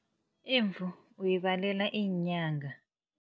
Imvu uyibalela iinyanga.